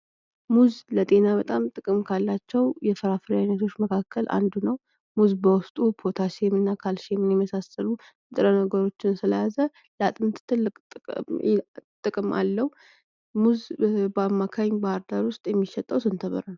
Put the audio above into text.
ሙዝ ለጤና በጣም ጥቅም ካላቸዉ የፍራፍሬዎች አይነቶች መካከል አንዱ ነዉ። ሙዝ በዉስጡ ፖታሽየም እና ካልሽየም የመሳሰሉ ንጥረ ነገሮችን ስለያዘ ለአጥንት ትልቅ ጥቅም አለዉ። ሙዝ በአማክኝ ባህርዳር ዉስጥ የሚሸጠዉ ስንት ብር ነዉ?